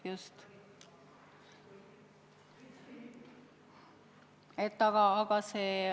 Just!